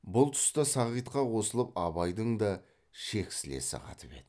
бұл тұста сағитқа қосылып абайдың да шексілесі қатып еді